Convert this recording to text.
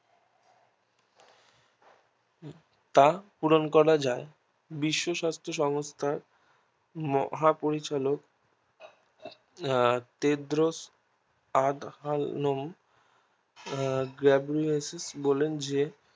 টা পূরণ করা যায় বিশ্ব স্বাস্থ্য সংস্থার মহা পরিচালক আহ তেড্রো অধর্ণব আহ বলেন যে